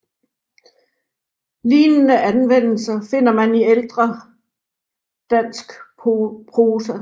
Lignende anvendelser finder man i ældre danks prosa